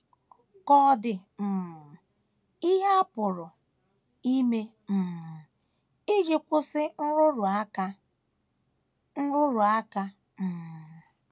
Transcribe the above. Ka ọ̀ dị um ihe a pụrụ ime um iji kwụsị nrụrụ aka? nrụrụ aka? um